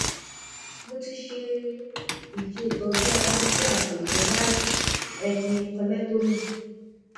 mo ti ṣe ìṣètọjú abẹ tí a pè ní right hemi collectomy